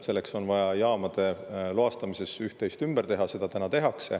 Selleks on vaja jaamade loastamises üht-teist ümber teha ja seda täna tehakse.